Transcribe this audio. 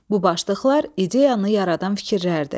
Bu başlıqlar ideyanı yaradan fikirlərdir.